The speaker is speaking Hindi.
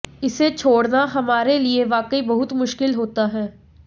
इसे छोड़ना हमारे लिए वाकई बहुत मुश्किल होता है